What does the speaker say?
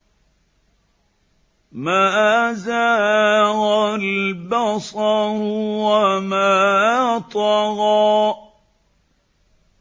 مَا زَاغَ الْبَصَرُ وَمَا طَغَىٰ